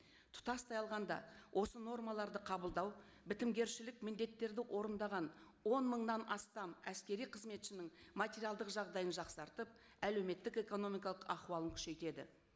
тұтастай алғанда осы нормаларды қабылдау бітімгершілік міндеттерді орындаған он мыңнан астам әскери қызметшінің материалдық жағдайын жақсартып әлеуметтік экономикалық ахуалын күшейтеді